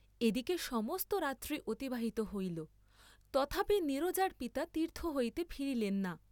এদিকে সমস্ত রাত্রি অতিবাহিত হইল, তথাপি নীরজার পিতা তীর্থ হইতে ফিরিলেন না।